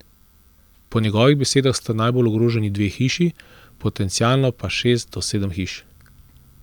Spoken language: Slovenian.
Po njegovih besedah sta najbolj ogroženi dve hiši, potencialno pa šest do sedem hiš.